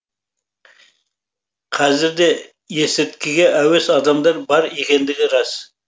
қазір де есірткіге әуес адамдар бар екендігі рас